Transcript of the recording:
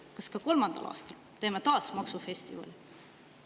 Kas kolmandal aastal teeme taas maksufestivali?